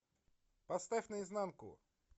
поставь наизнанку